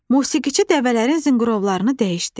Musiqiçi dəvələrin zınqrovlarını dəyişdi.